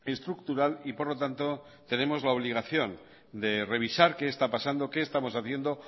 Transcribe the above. estructural y por lo tanto tenemos la obligación de revisar qué está pasando qué estamos haciendo